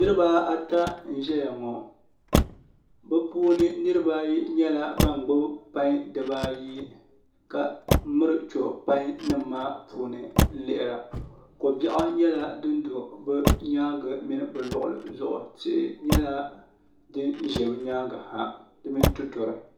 Niraba ata n ʒɛya ŋo bi puuni niraba ayi nyɛla ban gbubi pai dibaayi ka miri cho pai nim maa puuni n lihira ko biɛɣu nyɛla din do bi nyaangi mini bi luɣuli zuɣu tihi nyɛla din ʒɛ bi nyaangi ha di mini tuturi